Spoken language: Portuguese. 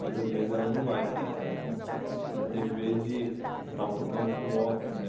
Mas às vezes ela não vai para essa... Já teve vez de... Eu estava tocando com o Otto, né?